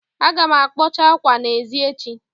Aga m akpọcha ákwâ n'èzí echi